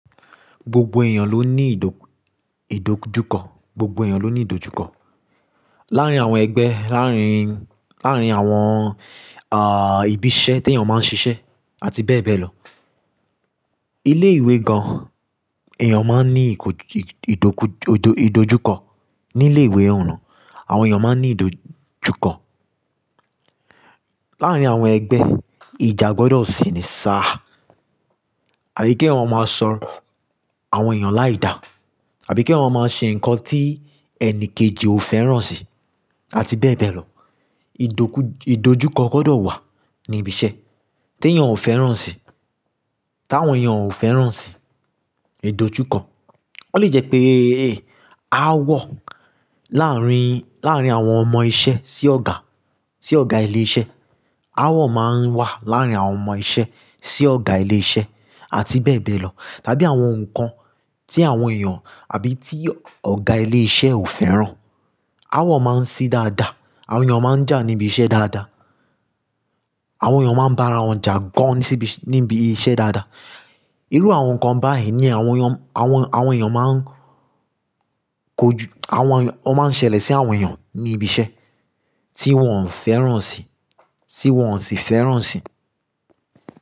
Gbogbo èèyàn ló ní ìdò, ìdojúkọ, gbogbo èèyàn ló ní ìdojúkọ. Láàárín àwọn ẹgbẹ́, láàárín, láàárín àwọn, àh, ibi iṣẹ́ tí èèyàn máa ń ṣiṣẹ́ àti bẹ́ẹ̀ bẹ́ẹ̀ lọ. Ilé ìwé gan, èèyàn máa ní ìkójú, ìdókú, ìdo, ìdojúkọ. Ní ilé ìwé ọ̀nà, àwọn èèyàn máa ní ìdojúkọ. Láàárín àwọn ẹgbẹ́, ìjà gbọdọ̀ sì ní sá à. Àbí kí èèyàn waa máa sọ̀rọ̀ àwọn èèyàn láì dá. Àbí kí èèyàn waa máa ṣe nǹkan tí ẹnìkejì ò fẹ́ràn si àti bẹ́ẹ̀ bẹ́ẹ̀ lọ. Ìdókú, ìdojúkọ gbọdọ̀ wà ní ibi iṣẹ́ tí èèyàn ò fẹ́ràn si. T'àwọn èèyàn ò fẹ́ràn si, ìdojúkọ. Ó lè jẹ́ pé, e, áawọ̀ láàárín, láàárín àwọn ọmọ iṣẹ́ sí ọ̀gá, sí ọ̀gá ilé iṣẹ́. Áwọ̀ máa ń wà láàárín àwọn ọmọ iṣẹ́ sí ọ̀gá ilé iṣẹ́ àti bẹ́ẹ̀ bẹ́ẹ̀ lọ. Tàbí àwọn nǹkan tí àwọn èèyàn àbí tí ọ̀gá ilé iṣẹ́ ò fẹ́ràn. Áawọ̀ máa ń sí dáadáa, àwọn èèyàn máa ń jà níbi iṣẹ́ dáadáa. Àwọn èèyàn máa ń bá ara wọn jà gan níbi iṣẹ́ dáadáa. Irú àwọn nǹkan báyìí ni àwọn èèyàn, àwọn, àwọn èèyàn máa ń kójú, àwọn èèyàn, won máa ń ṣẹlẹ̀ sí àwọn èèyàn ní ibi iṣẹ́ tí wọ́n ò fẹ́ràn si, tí wọ́n ò sì fẹ́ràn si.